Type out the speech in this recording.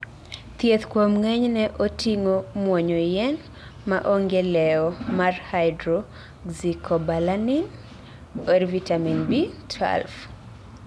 Thieth kuom ng'enyne otingo muonyo yien maonge lewo mar hydroxycobalamin(vitamin B12)